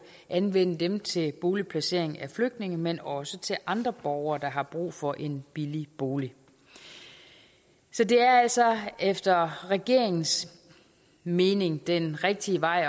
anvende dem til boligplacering af flygtninge men også til andre borgere der har brug for en billig bolig så det er altså efter regeringens mening den rigtige vej